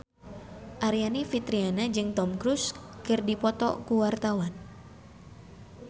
Aryani Fitriana jeung Tom Cruise keur dipoto ku wartawan